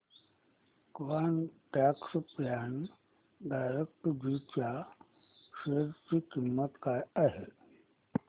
quant tax plan direct G च्या share ची किंमत काय आहे